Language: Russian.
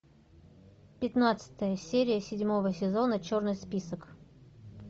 пятнадцатая серия седьмого сезона черный список